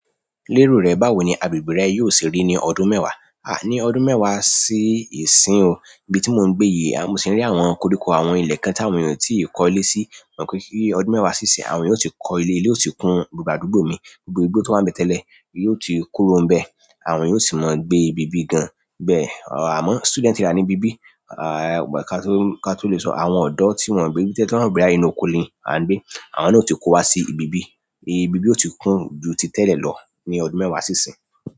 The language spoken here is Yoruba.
Lérò rẹ̀ báwo ni agbègbè rẹ̀ yóò se rí ní ọdún mẹ́wàá, ní ọdún mẹ́wàá sí ìsín o, íbi tí mò ń gbé yìí, mo si n rí àwọn koríko àwọn ilé kan tí àwọn ènìyàn ò tí ì kọ́ ilé sí, kí ọdún mẹ́wàá sí ìsín, àwọn ènìyàn ó ti kọ́ ilé, ilé ó ti kún gbogbo àdúgbò mi, gbogbo igbó tó wà ní ibé tẹ́lẹ̀ yóò ti kuró ń bẹ, àwọn ènìyàn ó sì máa gbé ibí bí gan. Bẹ́ẹ̀, àmọ́ student area ní ibí bí, ka tó lè sọ àwọn ọ̀dọ́ tí wọ́n gbé bí tẹ́lẹ̀ tí wọ́n ro bọya inú oko ni a n gbe àwọn náà ó ti kó wa sí ibí bí, ibí bí ó ti kún ju ti tẹ́lẹ̀ lọ ní ọdún mẹ́wàá sí ìsín.